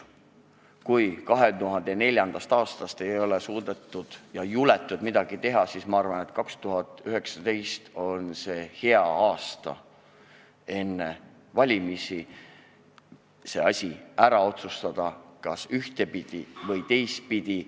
Kui 2004. aastast ei ole suudetud ega juletud midagi teha, siis ma arvan, et 2019. aastal, enne valimisi on hea see asi ära otsustada, kas ühtepidi või teistpidi.